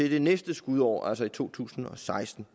i det næste skudår altså i to tusind og seksten